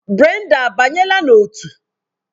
Brenda abanyela na otu?